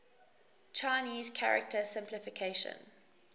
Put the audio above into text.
chinese character simplification